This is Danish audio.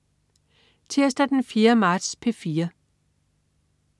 Tirsdag den 4. marts - P4: